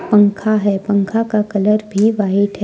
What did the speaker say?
पंखा हैं पंखा का कलर भी व्हाइट हैं।